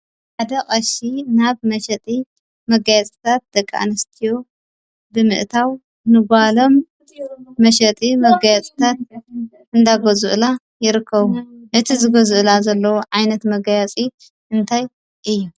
ሓደ ቀሺ ናብ መሸጢ መጋየፅታት ደቂ ኣነስትዮ ብምእታው ንጓሎም መሸጢ መጋየፅታት እናገዝኡላ ይርከቡ፡፡ እቲ ዝገዝኡላ ዘለዉ ዓይነት መጋየፂ እንታይ እዩ?